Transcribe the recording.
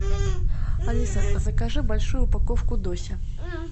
алиса закажи большую упаковку дося